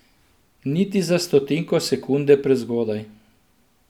Niti za stotinko sekunde prezgodaj.